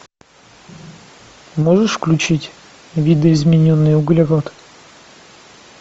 можешь включить видоизмененный углерод